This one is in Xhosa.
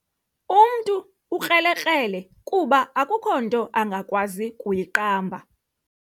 Umntu ukrelekrele kuba akukho nto angakwazi kuyiqamba.